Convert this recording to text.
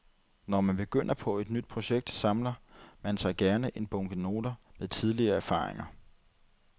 Når man begynder på et nyt projekt, samler man sig gerne en bunke noter med tidligere erfaringer.